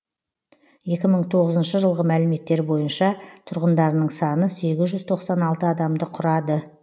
екі мың тоғызыншы жылғы мәліметтер бойынша тұрғындарының саны сегіз жүз тоқсан алты адамды құрады